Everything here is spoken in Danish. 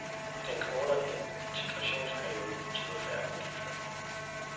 Den kortere integrationsperiode betyder færre udgifter.